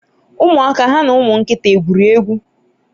umuaka ha na umu nkita egwuri egwu?